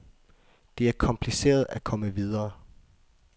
Det er kompliceret at komme videre.